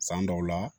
San dɔw la